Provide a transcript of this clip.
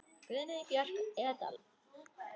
Guðný Björk Eydal.